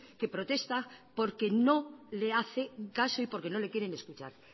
que protesta porque no le hace caso y porque no le quieren escuchar